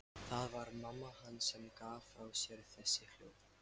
Það var mamma hans sem gaf frá sér þessi hljóð.